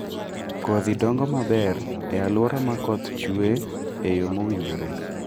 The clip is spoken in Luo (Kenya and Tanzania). Kodhi dongo maber e alwora ma koth chue e yo mowinjore